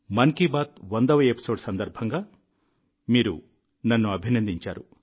మన్ కీ బాత్ 100వ ఎపిసోడ్ సందర్భంగా మీరు నన్ను అభినందించారు